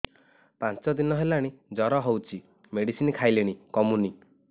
ପାଞ୍ଚ ଦିନ ହେଲାଣି ଜର ହଉଚି ମେଡିସିନ ଖାଇଲିଣି କମୁନି